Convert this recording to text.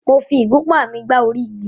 Mo fi ìgúnpá mi gbá ògiri.